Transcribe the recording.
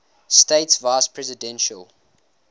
states vice presidential